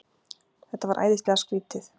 Þetta var æðislega skrýtið.